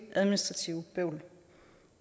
administrativt bøvl